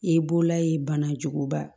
I bololayi bana juguba